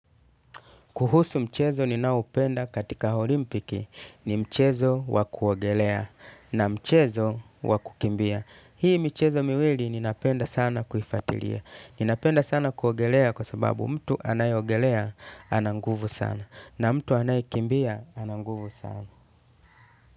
Kuhusu mchezo ninaopenda katika olimpiki ni mchezo wa kuogelea na mchezo wa kukimbia. Hii mchezo miwili ninapenda sana kuifatilia. Ninapenda sana kuogelea kwa sababu mtu anayeogelea ana nguvu sana na mtu anayekimbia ana nguvu sana.